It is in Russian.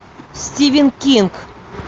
стивен кинг